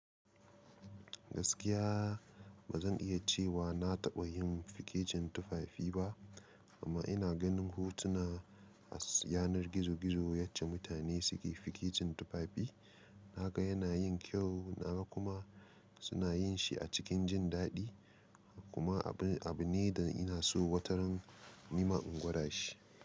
Gaskiya ba zan iya cewa na taɓa yin fikicin tufafi ba, amma ina ganin hotuna a yanar gizo-gizo yacce mutane suke fikicin tufafi. Na ga yana yin kyau. Na ga kuma suna yin shi a cikin jin daɗi. Kuma abun abu ne da ina so wataran. Ni ma in gwada shi.